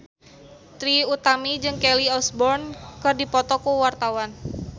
Trie Utami jeung Kelly Osbourne keur dipoto ku wartawan